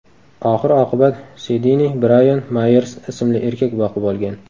Oxir-oqibat Sedini Brayan Mayers ismli erkak boqib olgan.